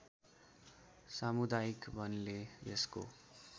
सामुदायिक वनले यसको